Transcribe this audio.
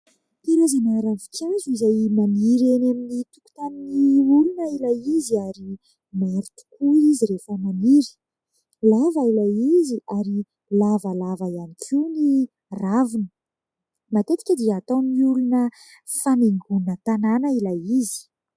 Karazana ravinkazo izay maniry eny amin'ny tokotanin'ny olona ilay izy ary maro tokoa izy rehefa maniry. Lava ilay izy ary lavalava ihany koa ny raviny. Matetika dia ataon'ny olona fanaingona tanàna ilay izy.